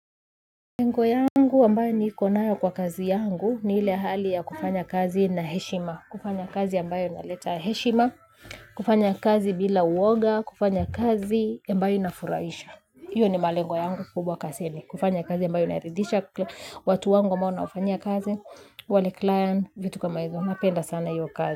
Lengo yangu ambayo nikonayo kwa kazi yangu ni ile ahali ya kufanya kazi na heshima. Kufanya kazi ambayo na leta heshima, kufanya kazi bila uoga, kufanya kazi ambayo ina furahisha hiyo ni malengo yangu kubwa kazini, kufanya kazi ambayo inaridhsha watu wangu ambao nawafanyia kazi, wale client, vitu kama hizo, napenda sana iyo kazi.